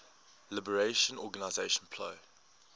liberation organization plo